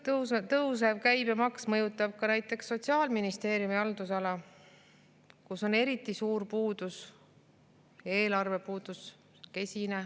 Tõusev käibemaks mõjutab ka näiteks Sotsiaalministeeriumi haldusala, kus on eriti suur puudus, eelarve on kesine.